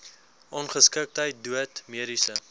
ongeskiktheid dood mediese